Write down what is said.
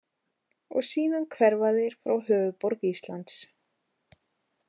Og síðan hverfa þeir frá höfuðborg Íslands.